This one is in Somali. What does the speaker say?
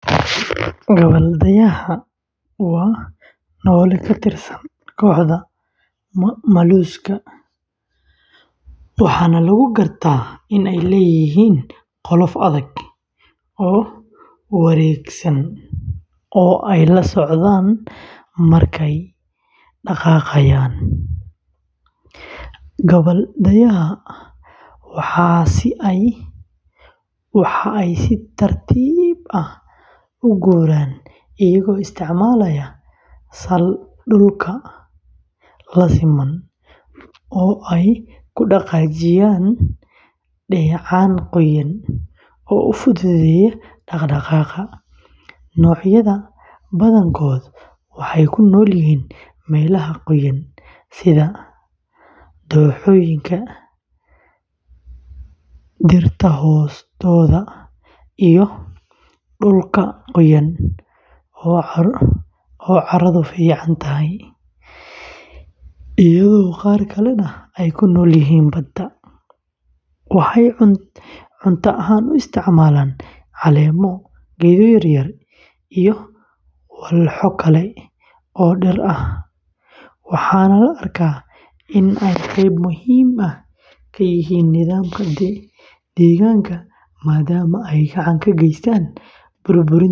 Gabbal-dayaha, waa noole ka tirsan kooxda molluska, waxaana lagu gartaa in ay leeyihiin qolof adag oo wareegsan oo ay la socdaan markay dhaqaaqayaan. Xamaaratadu waxa ay si tartiib ah u guuraan iyagoo isticmaalaya sal dhulka la siman oo ay ku dhaqaajiyaan dheecaan qoyan oo u fududeeya dhaqdhaqaaqa. Noocyada badankood waxay ku nool yihiin meelaha qoyan sida dooxooyinka, dhirta hoostooda, iyo dhulka qoyan ee carradu fiican tahay, iyadoo qaar kalena ay ku noolyihiin badda. Waxay cunta ahaan u isticmaalaan caleemo, geedo yaryar, iyo walxo kale oo dhir ah, waxaana la arkaa in ay qayb muhiim ah ka yihiin nidaamka deegaanka maadaama ay gacan ka geystaan burburinta haraadiga dhirta.